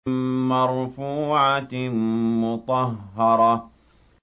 مَّرْفُوعَةٍ مُّطَهَّرَةٍ